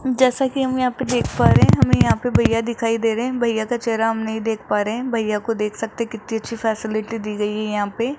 जैसा कि हम यहां पे देख पा रहे हैं हमें यहां पर भैया दिखाई दे रहे हैं भैया का चेहरा हम नहीं देख पा रहे हैं भैया को देख सकते कितनी अच्छी फैसिलिटी दी गई है यहां पे --